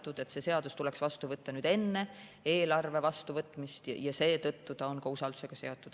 Nii et see seadus tuleks vastu võtta enne eelarve vastuvõtmist ja seetõttu on see usaldusega seotud.